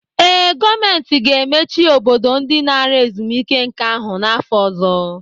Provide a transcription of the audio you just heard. Ee, gọọmentị ga-emechi Obodo ndị nara ezumike nka ahụ n'afọ ọzọ